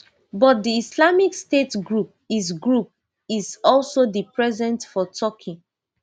but di islamic state group is group is also dey present for turkey